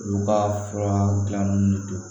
Olu ka fura dilannen de don